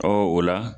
Ɔ o la